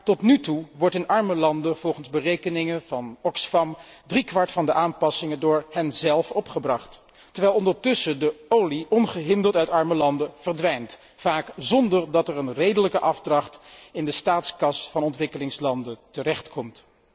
Tot nu toe echter wordt in arme landen, volgens berekeningen van Oxfam, drie kwart van de aanpassingen door henzelf opgebracht, terwijl ondertussen de olie ongehinderd uit arme landen verdwijnt, vaak zonder dat er een redelijke afdracht in de staatskas van de ontwikkelingslanden terechtkomt.